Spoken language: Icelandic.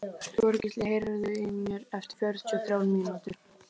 Þorgísl, heyrðu í mér eftir fjörutíu og þrjár mínútur.